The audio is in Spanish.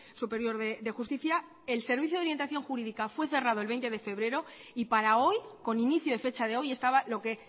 superior de justicia el servicio de orientación jurídica fue cerrado el veinte de febrero y para hoy con inicio de fecha de hoy estaba lo que